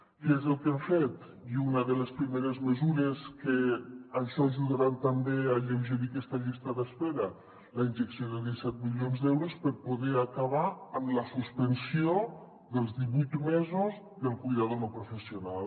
què és el que hem fet i una de les primeres mesures que ajudaran també a alleu·gerir aquesta llista d’espera la injecció de disset milions d’euros per poder acabar amb la suspensió dels divuit mesos del cuidador no professional